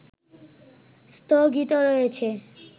স্থগিত রয়েছে